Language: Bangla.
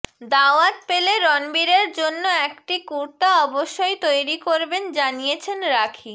দাওয়াত পেলে রণবীরের জন্য একটি কুর্তা অবশ্যই তৈরি করবেন জানিয়েছেন রাখি